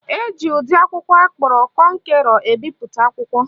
Eji ụdị akwụkwọ akpọrọ kọnkerọ ebipụta akwụkwọ.